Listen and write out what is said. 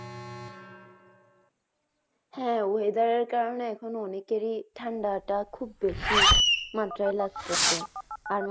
হ্যা whether এর কারণে এখন অনেকেরই ঠান্ডাটা খুব বেশি মাত্রাই লাগতাসে আর মা